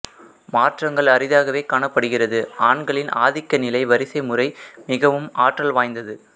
மாற்றங்கள் அரிதாகவே காணப்படுகிறது ஆண்களின் ஆதிக்கநிலை வரிசைமுறை மிகவும் ஆற்றல் வாய்ந்தது